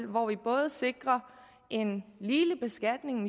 hvor vi både sikrer en